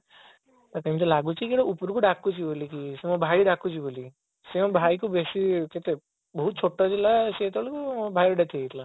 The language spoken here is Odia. ତାକୁ ଏମିତି ଲାଗୁଛି କି କିଏ ଗୋଟା ଉପର କୁ ଡାକୁଛି ବୋଲି ମୋ ଭାଇ ଡାକୁଛି ବୋଲି ସେ ମୋ ଭାଇକୁ ବେଶି କେତେ ସେ ଛୋଟ ଥିଲା ମୋ ଭାଇର death ହେଇ ଯାଇଥିଲା